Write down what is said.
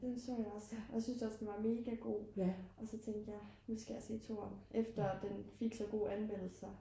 den så jeg også og jeg synes også at den var mega god og så tænkte jeg at nu skal jeg se 2'eren efter den fik så gode anmeldelser